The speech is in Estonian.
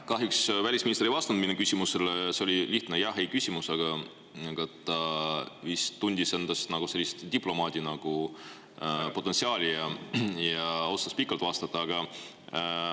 Kahjuks välisminister ei vastanud mu küsimusele, see oli lihtne jah-ei-küsimus, aga ta vist tundis endas nagu diplomaadi potentsiaali ja otsustas pikalt vastata.